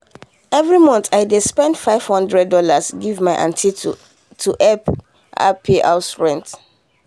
every month i dey send five hundred dollars give my aunty to help her pay house rent.